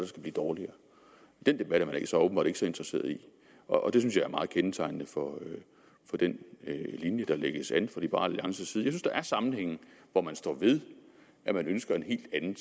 skal blive dårligere den debat er man altså åbenbart ikke så interesseret i og det synes jeg er meget kendetegnende for den linje der lægges an fra liberal alliances synes der er sammenhænge hvor man står ved at man ønsker en helt anden